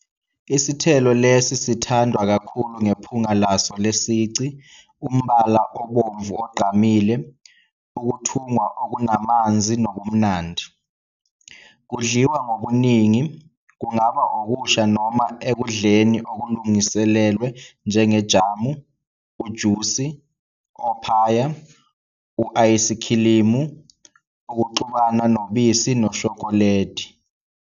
Isithelo lesi sithandwa kakhulu ngephunga laso lesici, umbala obomvu ogqamile, ukuthungwa okunamanzi nobumnandi. Kudliwa ngobuningi, kungaba okusha noma ekudleni okulungiselelwe njengejamu, ujusi, ophaya, u -ayisikhilimu, ukuxubana nobisi noshokoledi.